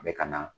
A bɛ ka na